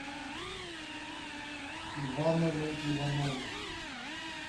ивановы ивановы